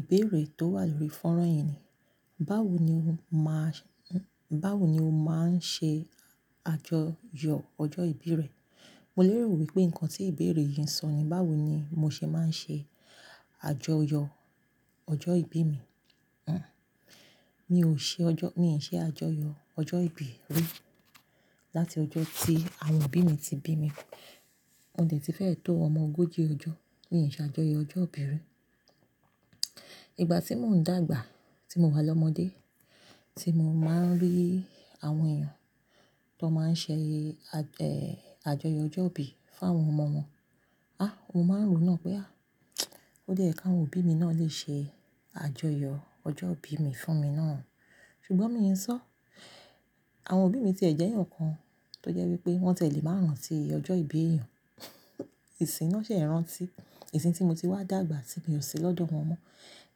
Ìbéèrè tó wà lórí fónrán yẹn ni, báwo ni o máa ń, báwo ni o máa ń ṣe àjọyọ̀ ọjọ́ ìbí rẹ? Mo lérò wípé nǹkan tí ìbéèrè yìí ń sọ ni báwo ni mo ṣe máa ń ṣe àjọyọ̀ ọjọ́ ìbí mi. Hm. Mi ò ṣe ọjọ́-- mi ò ṣe àjọyọ̀ ọjọ́ ìbí rí láti ọjọ́ tí àwọn òbí mi ti bí mi. Mo dẹ̀ tí fẹ́ tó omo ogóji ọjọ́. Mi ṣe àjọyọ̀ ọjọ́ ìbí rí. Ìgbà tí mò ń dàgbà, tí mo wà lọ́mọdé, tí mo máa ń rí àwọn èèyàn tó máa ń ṣe à, ẹ́, àjọyọ̀ ọjọ́ ìbí fún àwọn ọmọ wọn. Á, mo máa ń rò náà pé à, ó dẹ́ yẹ̀ kí àwọn òbí mi náà lè ṣe àjọyọ̀ ọjọ́ ìbí mi fún mi náà. Ṣùgbọ́n mi ò sọ. Àwọn òbí mi ti ẹ̀ jẹ́ èèyàn kan tó jẹ́ wípé wọ́n tẹ̀ lè máa rántí ọjọ́ ìbí èèyàn. Ìsìn náà ṣẹ̀ rántí. Ìsìn tí mo ti wá dàgbà tí mi ò ṣe lọ́dọ̀ wọn mon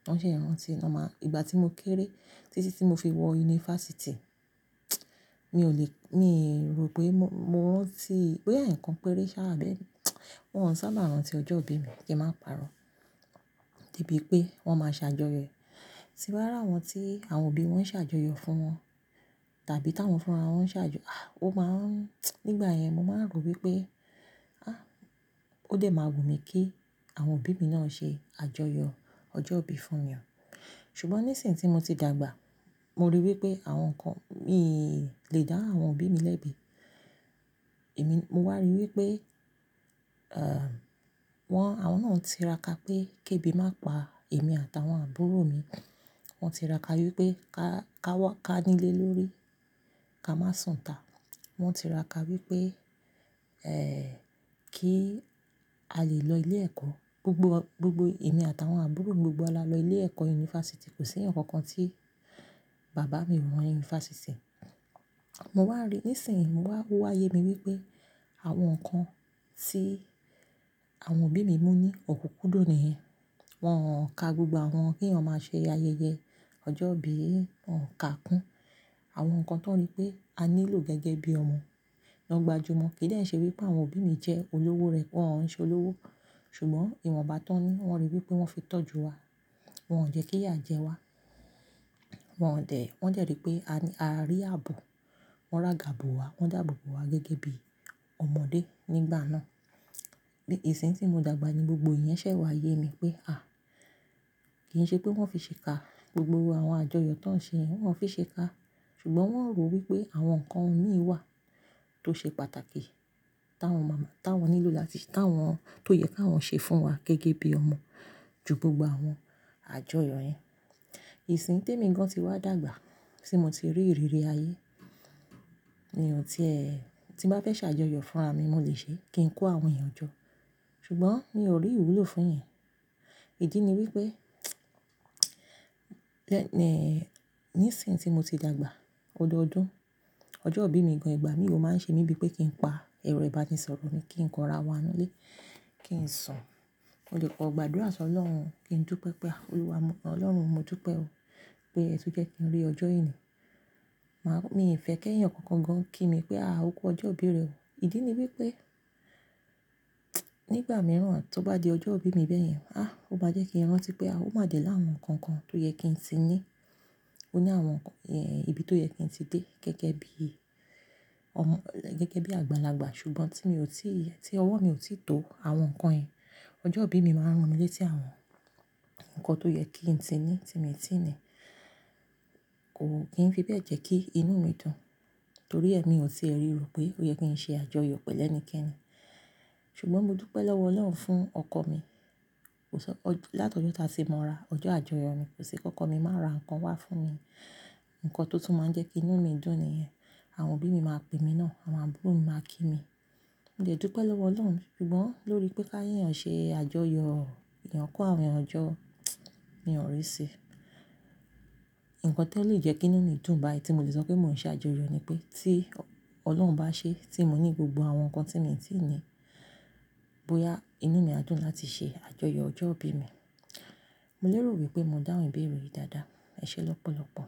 Wọ́n ṣẹ̀ rántí. Wọ́n máa-- ìgbà tí mo kéré títí tí mo fi wọ yunifásítì, mi ò lè-- mi rò pé mo, mo rántí pé ẹ̀ẹ̀yàn kan péré ṣáá bẹ́ẹ̀ ni. Wọn ò sábà rántí ọjọ́ ìbí mi kí n máa pàrọ̀. Debí pé wọ́n máa ṣe àjọyọ̀. Tí bá rárá wọn tí àwọn òbí wọn ṣe àjọyọ̀ fún wọn tàbí táwọn fúnra wọn ṣe àjọ-- à, ó máa ń-- nígbà yẹn mo máa ń rò wípé, á, ó dẹ́ máa wù mí kí àwọn òbí mi náà ṣe àjọyọ̀ ọjọ́ ìbí fún mi mọ́. Ṣùgbọ́n ní ìsìn tí mo ti dàgbà, mo ríi wípé àwọn ǹkan-- mi lè dáhùn àwọn òbí mi lẹ́bi. Èmi, mo wà ríi wípé, ẹ́m, wọ́n, àwọn náà ń tira ka pé kéébì má pa èmi àtàwọn àbúrò mi. Wọn ń tira ka wípé ká, ká wá, ká nílé lórí, ká má sùn tá. Wọn ń tira ka wípé, ẹ́, kí a lè lọ ilé ẹ̀kọ́. Gbogbo, gbogbo èmi àtàwọn àbúrò mi gbogbo wa lọ ilé ẹ̀kọ́ yunifásítì. Kò sí ǹkan kan tí bàbá o mu wọ yunifásítì. Mo wà rí-- ní ìsìn mo wà, wà yé mi wípé àwọn ǹkan tí àwọn òbí mi mú ní ò kúkú dò ni ẹ́. Wọn ò ka gbogbo àwọn kí èèyàn máa ṣe ayẹyẹ ọjọ́ ìbí, wọn ò ka kún àwọn ǹkan tó rí pé a nílò gẹ́gẹ́ bí ọmọ lọgbà jú wọn. Kì í dènṣẹ́ wípé àwọn òbí mi jẹ́ olówó rẹ̀ pé wọ́n ń ṣe olówó. Ṣùgbọ́n ìwọ̀nba tó ń-- wọ́n ríi wípé wọ́n fi tọ́jú wa. Wọn ò jẹ́ kí yà jẹ wá. Wọn ò dẹ̀-- wọ́n jẹ̀ rí pé a ní, a rí ààbò. Wọn rà gàbò wá, wọ́n dàbòbò wá gẹ́gẹ́ bí ọmọdé nígbà náà. Ní ìsìn tí mo dàgbà ni gbogbo ìyẹn ṣẹ̀ wá yé mi pé à, kì í ṣe pé wọ́n fi ṣe ka gbogbo àwọn àjọyọ̀ tó ń ṣe yẹn wọ́n fi ṣe ka. Ṣùgbọ́n wọ́n rò wípé àwọn ǹkan òmíí wà tó ṣe pàtàkì táwọn mọ̀, táwọn nílò láti ṣí, táwọn-- tó yẹ kí àwọn ṣe fún wa gẹ́gẹ́ bí ọmọ ju gbogbo àwọn àjọyọ̀ yẹn. Ìsìn témi gan tí wá dàgbà tí mo ti rí ìrírí ayé ni ọ̀ tí ẹ́, tí n bá fẹ́ ṣe àjọyọ̀ fúnra mi mo lè ṣe kí n kó àwọn èèyàn jọ. Ṣùgbọ́n mi ò rí ìwúlò fún ìyẹn. Ìdí ni wípé, lẹ́, ẹ́, ní ìsìn tí mo ti dàgbà, odọọdún, ọjọ́ ìbí mi gan ìgbà mi ò máa ń ṣe mí bíi pé kí n pa ẹrọ ìbánisọ̀rọ̀ mi, kí n kọ ara wa nínú ilé, kí n sùn. Ó lè kọ gbàdúrà sọ ọlọ́run, kí n dúpẹ́ pé a Olúwa, Ọlọ́run mo dúpẹ́ o pé ẹ tún jẹ́ kí n rí ọjọ́ yìí ni. Màá-- mi ò fẹ́ kí ẹ̀ẹ̀yàn kankan gan kí mi pé a ò kú ọjọ́ ìbí rẹ o. Ìdí ni wípé, nígbà mìíràn tó bá di ọjọ́ ìbí mi bẹ́ẹ̀ yẹn, á, ó bá jẹ́ kí n rántí pé a ó má dẹ̀ láàrín ǹkan kan tó yẹ kí n ti ní. Ó ní àwọn ǹkan yẹn, ibi tó yẹ kí n ti dé gẹ́gẹ́ bí ọmọ, gẹ́gẹ́ bí àgbàlagbà. Ṣùgbọ́n tí mi ò tí í yẹ, tí ọwọ́ mi ò tí ì tó àwọn ǹkan yẹn, ọjọ́ ìbí mi máa ń ran mí lé tí àwọn ǹkan tó yẹ kí n ti ní tí mi ò tí ì ní. Kò kí ń fi bẹ́ẹ̀ jẹ́ kí inú mi dùn torí èmi ò tí è ríro pé ó yẹ kí n ṣe àjọyọ̀ pẹ̀lú ẹnikẹ́ni. Ṣùgbọ́n mo dúpẹ́ lọ́wọ Ọlọ́run fún ọkọ mi. Kò sọ́n, láti ọjọ́ táa ṣe mo ra ọjọ́ àjọyọ̀ mi kò sí kankan mi máa ra ǹkan wá fún mi. Ǹkan tó tún máa ń jẹ́ kí inú mi dùn ni ìyẹn. Àwọn òbí mi máa pè mi náà, àwọn àbúrò mi máa kí mi. Mo jẹ̀ dúpẹ́ lọ́wọ Ọlọ́run. Ṣùgbọ́n lórí pé ká ìyẹn ṣe àjọyọ̀, ìyẹn kó àwọn èèyàn jọ, mi ò rí i ṣe. Ǹkan tó lè jẹ́ kí inú mi dùn báyìí tí mo lè sọ pé mò ń ṣe àjọyọ̀ ni pé tí Ọlọ́run bá ṣe tí mo ní gbogbo àwọn ǹkan tí mo ti ní bóyá inú mi á dùn láti ṣe àjọyọ̀ ọjọ́ ìbí mi. Mo lérò wípé mo dáhùn ìbéèrè yìí dáadáa. Ẹ ṣé lọ́pọ̀lọ́pọ̀.